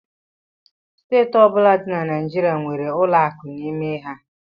Steeti ọbụla dị na Naịjirịa nwere ụlọ akụ n'ime ha